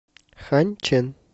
ханьчэн